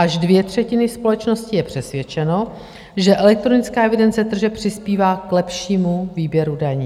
Až dvě třetiny společnosti jsou přesvědčeny, že elektronická evidence tržeb přispívá k lepšímu výběru daní.